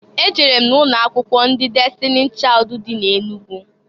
E jere m na ụnọ akwụkwọ ndị Destini Chaịd dị na Enugu.